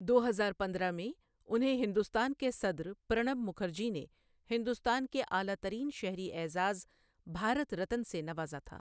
دو ہزار پندرہ میں، انہیں ہندوستان کے صدر پرَنَب مکھرجی نے ہندوستان کے اعلیٰ ترین شہری اعزاز، بھارت رتن سے نوازا تھا۔